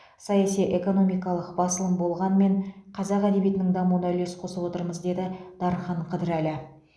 саяси экономикалық басылым болғанмен қазақ әдебиетінің дамуына үлес қосып отырмыз деді дархан қыдырәлі